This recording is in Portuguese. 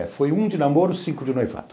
É, foi um de namoro, cinco de noivado.